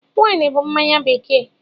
Wine bụ mmanya bekee.